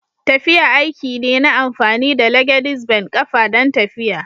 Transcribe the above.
Tafiya aiki ne na amfani da (legedis ben) kafa don tafiya.